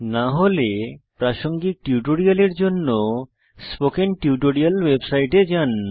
না হলে প্রাসঙ্গিক টিউটোরিয়ালের জন্য স্পোকেন টিউটোরিয়াল ওয়েবসাইটে যান